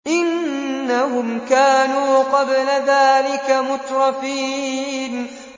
إِنَّهُمْ كَانُوا قَبْلَ ذَٰلِكَ مُتْرَفِينَ